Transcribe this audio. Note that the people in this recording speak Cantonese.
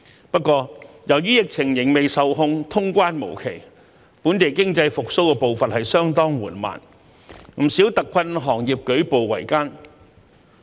不過，由於疫情仍未受控，通關無期，本地經濟復蘇步伐相當緩慢，不少特困行業舉步維艱。